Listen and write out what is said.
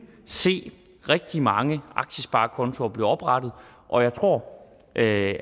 se rigtig mange aktiesparekontoer blive oprettet og jeg tror